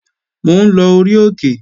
Mò ń lọ orí òkè